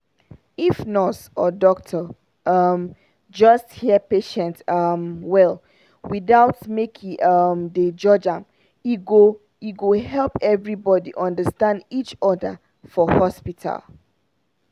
if nurse or doctor um just hear patient um well without make e um dey judge am e go e go help everybody understand each other for hospital.